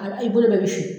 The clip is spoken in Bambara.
A i bolo bɛɛ bɛ fin